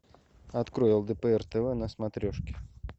открой лдпр тв на смотрешке